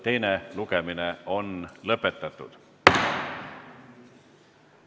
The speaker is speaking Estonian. Teine lugemine on lõpetatud.